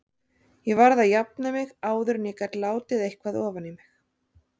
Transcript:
Ég varð að jafna mig áður en ég gat látið eitthvað ofan í mig.